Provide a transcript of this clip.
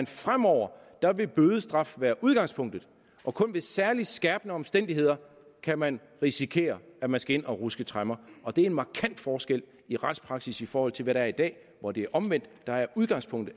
fremover vil bødestraf være udgangspunktet og kun ved særlig skærpende omstændigheder kan man risikere at man skal ind at ruske tremmer og det er en markant forskel i retspraksis i forhold til hvad der er i dag hvor det er omvendt der er udgangspunktet